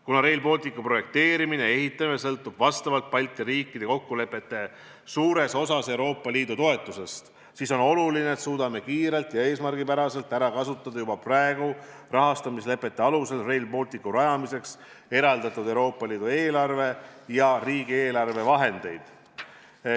Kuna Rail Balticu projekteerimine ja ehitamine sõltub vastavalt Balti riikide kokkulepetele suures osas Euroopa Liidu toetusest, siis on oluline, et suudaksime kiirelt ja eesmärgipäraselt ära kasutada juba praegu rahastamislepete alusel Rail Balticu rajamiseks eraldatud Euroopa Liidu eelarve ja riigieelarve vahendid.